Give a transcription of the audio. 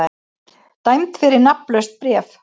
Dæmd fyrir nafnlaust bréf